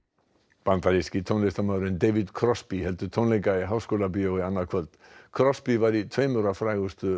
bandaríski tónlistarmaðurinn David heldur tónleika í Háskólabíói annað kvöld crosby var í tveimur af frægustu